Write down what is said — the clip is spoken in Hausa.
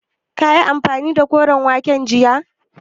Kayi amfani da koren wake jiya?